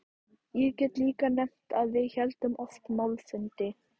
Ég get líka nefnt að við héldum oft málfundi.